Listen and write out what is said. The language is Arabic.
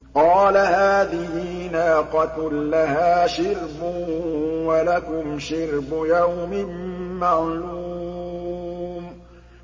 قَالَ هَٰذِهِ نَاقَةٌ لَّهَا شِرْبٌ وَلَكُمْ شِرْبُ يَوْمٍ مَّعْلُومٍ